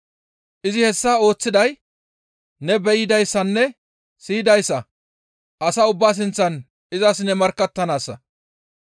Izi hessa ooththiday ne be7idayssanne siyidayssa asa ubbaa sinththan izas ne markkattanaassa.